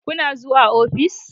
Kuna zuwa ofis?